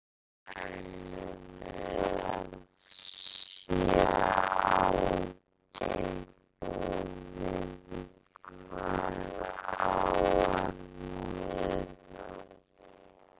Hvað teljum við að sé algengt og við hvað á að miða?